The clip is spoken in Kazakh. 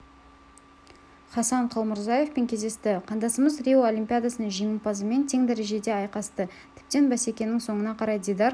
хасан қалмұрзаевпен кездесті қандасымыз рио олимпиадасының жеңімпазымен тең дәрежеде айқасты тіптен бәсекенің соңына қарай дидар